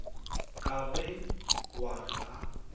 ka be wa re ga